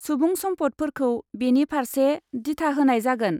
सुबुं सम्फदफोरखौ बेनि फारसे दिथा होनाय जागोन।